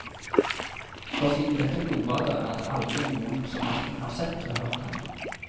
For siden dette blodbadet er det aldri noen som hverken har sett eller hørt henne.